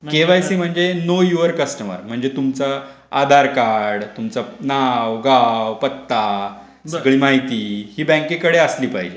के Y C म्हणजे know your customer म्णजे तुमचं आधार कार्ड नाव गाव पत्ता हि सगळी माहिती बँकेकडे असली पाहिजे.